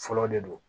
Fɔlɔ de don